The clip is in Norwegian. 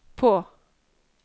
på